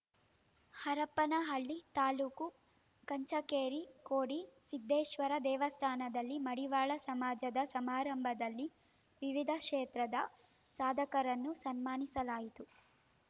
ಹರಪನಹಳ್ಳಿ ತಾಲೂಕು ಕಂಚಿಕೇರಿ ಕೋಡಿ ಸಿದ್ದೇಶ್ವರ ದೇವಸ್ಥಾನದಲ್ಲಿ ಮಡಿವಾಳ ಸಮಾಜದ ಸಮಾರಂಭದಲ್ಲಿ ವಿವಿಧ ಕ್ಷೇತ್ರದ ಸಾಧಕರನ್ನು ಸನ್ಮಾನಿಸಲಾಯಿತು